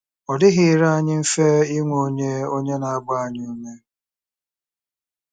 Ọ dịghịrị anyị mfe inwe onye onye na-agba anyị ume.